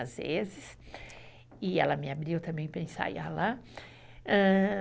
às vezes, e ela me abriu também para ensaiar lá. Ah..